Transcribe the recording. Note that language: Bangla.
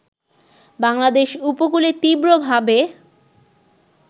বাংলাদেশ উপকূলে তীব্রভাবে